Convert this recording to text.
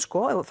og